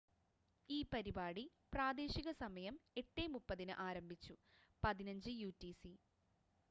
ഈ പരിപാടി പ്രാദേശികസമയം 8:30 ന്‌ ആരംഭിച്ചു 15.00 യു റ്റി സി